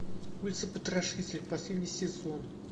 улица потрошителя последний сезон